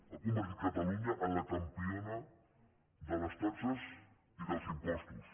ha convertit catalunya en la campiona de les taxes i dels impostos